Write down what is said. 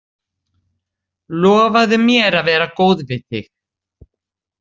Lofaðu mér að vera góð við þig